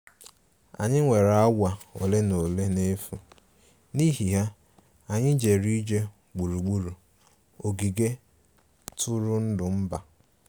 Anyị nwere awa ole na ole n'efu, n'ihi ya, anyị jere ije gburugburu ogige ntụrụndụ mba